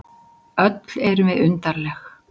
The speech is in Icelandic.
Öll erum við undarleg.